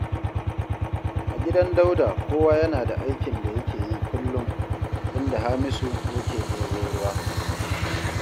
A gidan Dauda kowa yana da aikin da yake yi kullum, inda Hamisu yake ɗebo ruwa